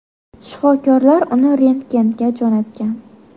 Shifokorlar uni rentgenga jo‘natgan.